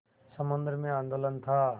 समुद्र में आंदोलन था